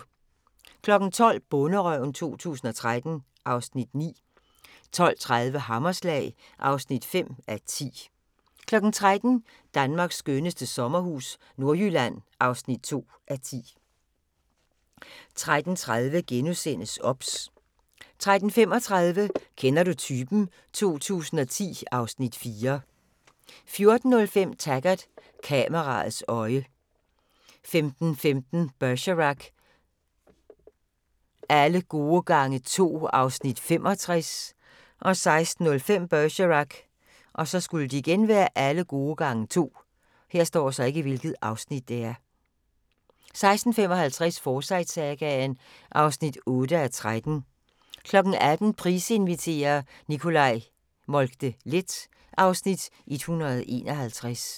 12:00: Bonderøven 2013 (Afs. 9) 12:30: Hammerslag (5:10) 13:00: Danmarks skønneste sommerhus – Nordjylland (2:10) 13:30: OBS * 13:35: Kender du typen? 2010 (Afs. 4) 14:05: Taggart: Kameraets øje 15:15: Bergerac: Alle gode gange to (Afs. 65) 16:05: Bergerac: Alle gode gange to 16:55: Forsyte-sagaen (8:13) 18:00: Price inviterer - Nicolai Moltke-Leth (Afs. 151)